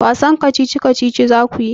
Wasan kacici-kacici za ku yi?